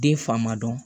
Den fa ma dɔn